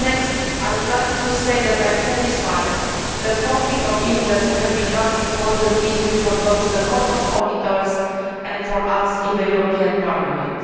Next, I would like to say that I am satisfied that conflict of interest has become an important issue for both the Court of Auditors and for us in this Parliament.